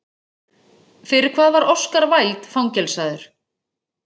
Fyrir hvað var Oscar Wilde fangelsaður?